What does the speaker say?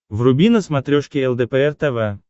вруби на смотрешке лдпр тв